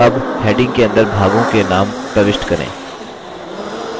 अब heading के अंदर भागों के now प्रविष्ट करें